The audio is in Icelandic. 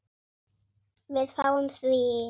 Við fáum því